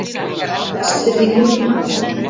Vestfirðingum fækkar mest